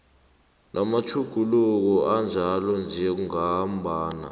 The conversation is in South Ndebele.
namatjhuguluko anjalo njengombana